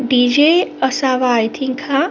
DJ. असावा I think हा --